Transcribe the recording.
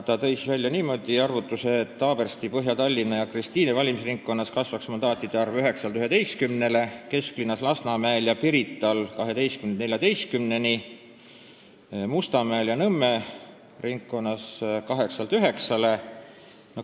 Ta tõi välja niisuguse arvutuse, et Haabersti, Põhja-Tallinna ja Kristiine valimisringkonnas kasvaks mandaatide arv 9-st 11-ni, Kesklinnas, Lasnamäel ja Pirital 12-st 14-ni ning Mustamäe ja Nõmme ringkonnas 8-st 9-ni.